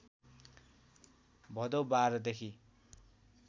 भदौ १२ देखि